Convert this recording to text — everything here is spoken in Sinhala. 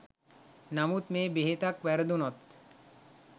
නමුත් මේ බෙහෙතක් වැරදුනොත්